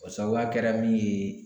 O sabuya kɛra min ye